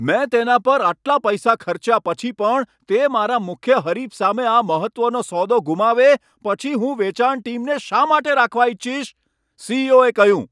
મેં તેના પર આટલા પૈસા ખર્ચ્યા પછી પણ તે મારા મુખ્ય હરીફ સામે આ મહત્વનો સોદો ગુમાવે પછી હું વેચાણ ટીમને શા માટે રાખવા ઇચ્છીશ?, સી.ઈ.ઓ.એ કહ્યું.